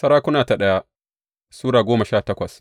daya Sarakuna Sura goma sha takwas